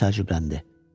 Buna təəccübləndi.